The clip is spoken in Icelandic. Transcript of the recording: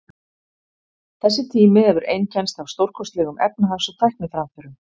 Þessi tími hefur einkennst af stórkostlegum efnahags- og tækniframförum.